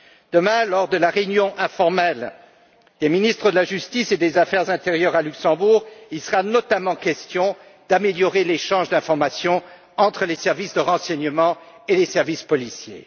Demain, lors de la réunion informelle des ministres de la justice et de l'intérieur, à Luxembourg, il sera notamment question d'améliorer l'échange d'informations entre les services de renseignement et les services policiers.